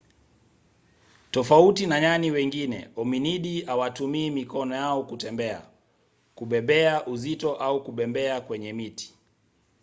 tofauti na nyani wengine hominidi hawatumii mikono yao kwa kutembea kubebea uzito au kubembea kwenye miti